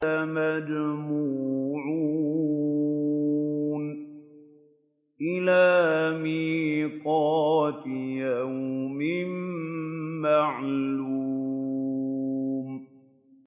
لَمَجْمُوعُونَ إِلَىٰ مِيقَاتِ يَوْمٍ مَّعْلُومٍ